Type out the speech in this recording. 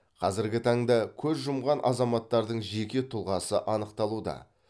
қазіргі таңда көз жұмған азаматтардың жеке тұлғасы анықталуда